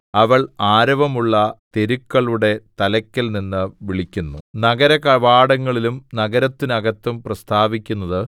അവൾ ആരവമുള്ള തെരുക്കളുടെ തലയ്ക്കൽനിന്ന് വിളിക്കുന്നു നഗരകവാടങ്ങളിലും നഗരത്തിനകത്തും പ്രസ്താവിക്കുന്നത്